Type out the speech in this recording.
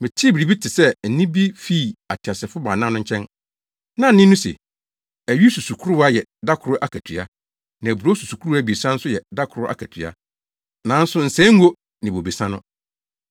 Metee biribi te sɛ nne bi fii ateasefo baanan no nkyɛn. Na nne no se, “Awi susukoraa yɛ da koro akatua, na aburow susukoraa abiɛsa nso yɛ da koro akatua. Nanso nsɛe ngo ne bobesa no!”